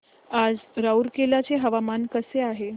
आज रूरकेला चे हवामान कसे आहे